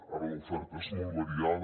ara l’oferta és molt variada